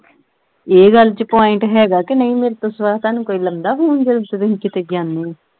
ਇਹ ਗੱਲ ਵਿਚ point ਹੈਗਾ ਕੇ ਨਹੀਂ ਮੇਰੇ ਤੋਂ ਸਿਵਾ ਤੁਹਾਨੂੰ ਕੋਈ ਲਾਉਂਦਾ phone ਜਿਦੋ ਕਿੱਥੇ ਜਾਨੇ ਓ।